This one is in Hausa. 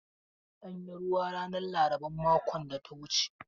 An yi ruwa ranar laraban makon da ta wuce.